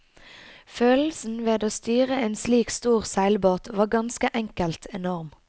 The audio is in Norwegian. Følelsen ved å styre en slik stor seilbåt var ganske enkel enorm.